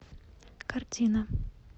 картина